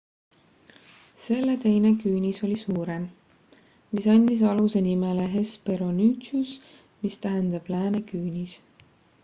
selle teine küünis oli suurem mis andis aluse nimele hesperonychus mis tähendab lääne küünis